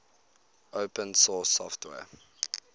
open source software